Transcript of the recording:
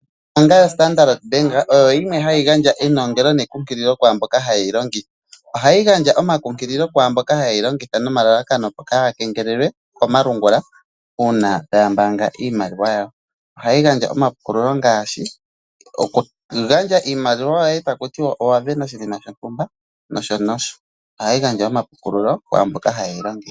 Ombaanga yoStandard Bank oyo yimwe hayi gandja enongelo nekunkililo kwaa mboka haye yi longitha. Ohayi gandja omakunkililo kwaa mboka haye yi longitha nelalakano opo kaa ya kengelelwe komalungula uuna taya mbaanga iimaliwa yawo. Ohayi gandja omapukululo ngaashi okugandja iimaliwa yoye taku tiwa owa vena oshinima shontumba nosho nosho. Ohayi gandja omapukululo kwaa mbono haye yi longitha.